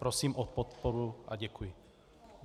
Prosím o podporu a děkuji.